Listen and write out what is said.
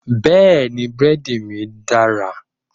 Bẹ́ẹ̀ni, búrẹ́dí mí dára.